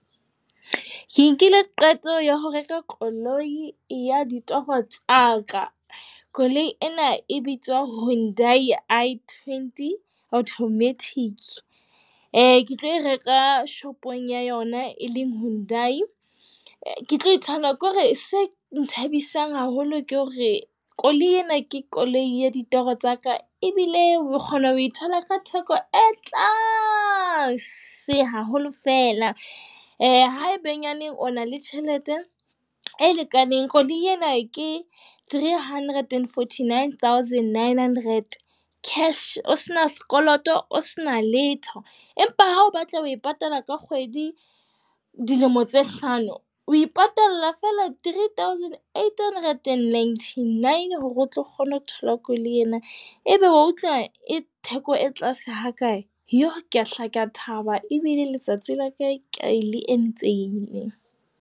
Ke nkile qeto ya ho reka koloi ya ditoro tsa ka. Koloi ena e bitswa Hyundai i20, automatic. Ke tlo e reka shopong ya yona e leng Hyundai. Ke tlo e tshwana ke hore se nthabisang haholo ke hore koloi ena ke koloi ya ditoro tsa ka, ebile o kgona ho thola ka theko e tlase haholo fela. Haebenyaneng o na le tjhelete e lekaneng. Koloi ena ke three hundred and forty, nine thousand, nine hundred, cash. O se na sekoloto, o sena letho empa ha o batla ho patala ka kgwedi dilemo tse hlano. O ipatalla fela three thousand, eight hundred and ninety, nine. Hore o tlo kgona ho thola koloi ena. Ebe wa utlwa e theko e tlase ha kae? Iyoo. Kea hlaka thaba ebile letsatsi la ka le entsehile.